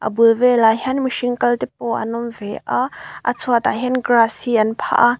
bul velah hian mihring kal te pawh an awm ve a a chhuatah hian grass hi an phah a.